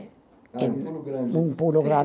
Um pulo grande. Um pulo